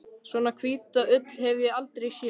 Svona hvíta ull hef ég aldrei séð.